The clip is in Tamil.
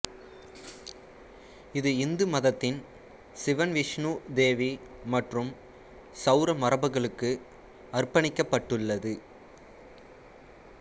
இது இந்து மதத்தின் சிவன் விஷ்ணு தேவி மற்றும் சௌர மரபுகளுக்கு அர்ப்பணிக்கப்பட்டுள்ளது